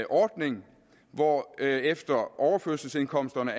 ordning hvorefter overførselsindkomsterne